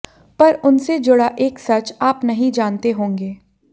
पर उनसे जुड़ा एक सच आप नहीं जानते होंगे